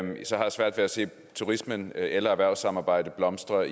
svært ved at se turismen eller et erhvervssamarbejde blomstre